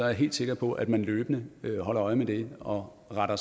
jeg helt sikker på at man løbende holder øje med det og retter